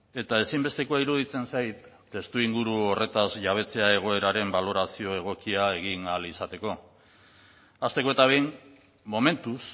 eta ezinbestekoa iruditzen zait testuinguru horretaz jabetzea egoeraren balorazio egokia egin ahal izateko hasteko eta behin momentuz